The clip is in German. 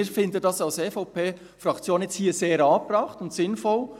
Wir finden dies als EVP-Fraktion hier sehr angebracht und sinnvoll.